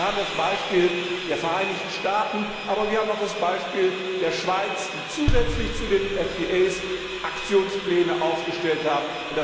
Wir haben das Beispiel der Vereinigten Staaten, aber wir haben auch das Beispiel der Schweiz, die zusätzlich zu den Freihandelsabkommen Aktionspläne aufgestellt haben.